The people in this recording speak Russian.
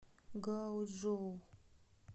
гаочжоу